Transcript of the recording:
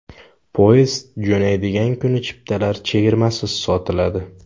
Poyezd jo‘naydigan kuni chiptalar chegirmasiz sotiladi.